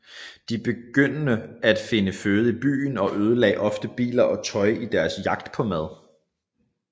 De begyndte at finde føde i byen og ødelagde ofte biler og tøj i deres jagt på mad